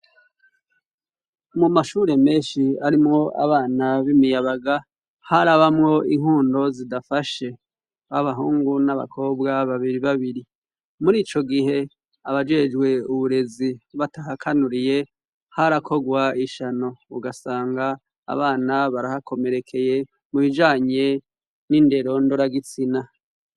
Mu mashure menshi arimwo abana b'imiyabaga harabamwo inkundo zidafashe; aho abahungu n'abakobwa babiri babiri. Muri ico gihe abajejwe uburezi batahakanuriye harakorwa ishano; ugasanga abana barahakomerekeye mubijanye n'indero ndoragitsina.